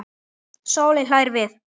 Sóley hlær við.